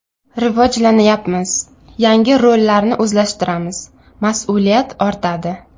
Rivojlanyapmiz, yangi rollarni o‘zlashtiramiz, mas’uliyat ortadi.